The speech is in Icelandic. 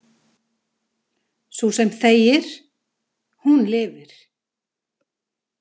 Sú sem þegir, hún lifir.